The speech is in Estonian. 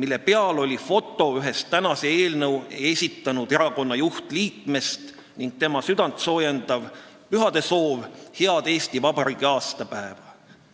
mille peal oli foto ühest tänase eelnõu esitanud erakonna juhtliikmest ning tema südantsoojendav pühadesoov "Head Eesti vabariigi aastapäeva!